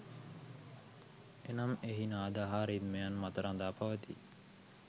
එනම් එහි නාද හා රිද්මයන් මත රඳා පවතී.